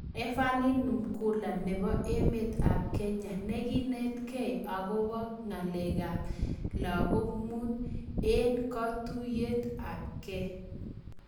Everlin Namukhula nepoo emeet ap Kenya nekineet gei akopoo ng'alek ap lagok muut eeng katuiyet ap gei